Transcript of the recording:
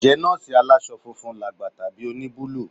Ǹjẹ́ nọ́ọ̀sì aláṣọ funfun làgbà tàbí oníbúlù?